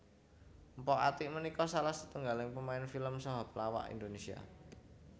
Mpok Atiek punika salah setunggaling pemain film saha pelawak Indonesia